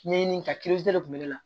Ɲɛɲini ka de kun bɛ ne la